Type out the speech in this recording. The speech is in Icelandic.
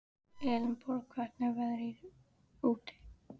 Elenborg, hvernig er veðrið úti?